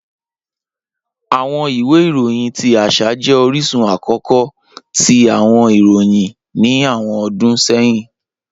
Awọn iwe iroyin ti aṣa jẹ orisun akọkọ ti awọn iroyin ni awọn ọdun sẹhin.